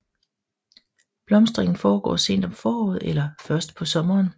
Blomstringen foregår sent om foråret eller først på sommeren